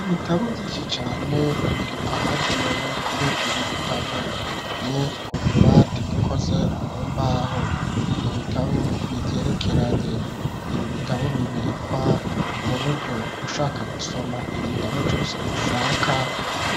Ibitabo vyinshi cane, biri ahagenewe, kubikwa ibi bitabo; ni ku tubati, dukoze mu mbaho, ni ibitabo bigerekeranye; ibi bitabo, bibikwa mu buryo, ushaka gusoma, igitabo cose ushaka,